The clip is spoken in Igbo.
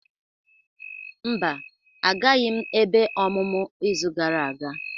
Mba, agaghịm ebe ọmụmụ izu gara aga.